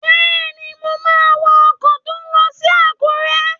Bẹ́ẹ̀ni, mo máa wọ ọkọ̀ tó n lọ sí Àkúrẹ́